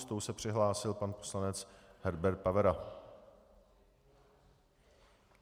S tou se přihlásil pan poslanec Herbert Pavera.